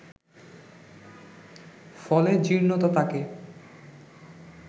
ফলে জীর্ণতা তাঁকে